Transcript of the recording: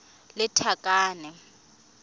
lethakane